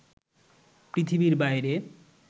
পৃথিবীর বাইরে